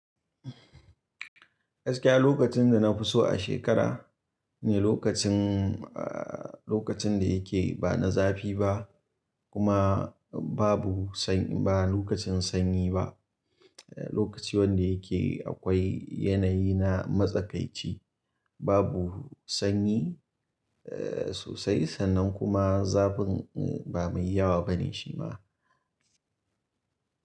Gaskiya lokacin da na fi so a shekara lokacin, aa lokacin da yake ba na zafi ba kuma babu sanyi ba lokacin sanyi ba, lokaci wanda yake akwai yanayi na matsakaici, babu sanyi sosai sannan kuma zafin ba mai yawa bane shi ma.